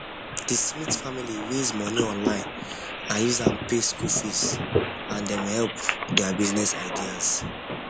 the smith family raise money online and use am pay school fees and dem help their business ideas